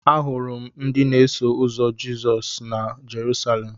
Ahụrụ m ndị na-eso ụzọ Jizọs na Jerusalemụ.